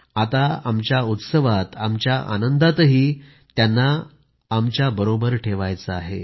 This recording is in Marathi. आता आमच्या उत्सवात आमच्या आनंदातही त्यांना आमच्याबरोबर ठेवायचं आहे